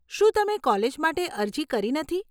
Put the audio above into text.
શું તમે કોલેજ માટે અરજી કરી નથી?